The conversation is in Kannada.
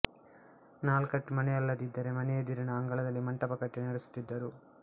ನಾಲ್ ಕಟ್ಟ್ ಮನೆಯಲ್ಲದಿದ್ದರೆ ಮನೆಯೆದುರಿನ ಅಂಗಳದಲ್ಲಿ ಮಂಟಪ ಕಟ್ಟಿ ನಡೆಸುತ್ತಿದ್ದರು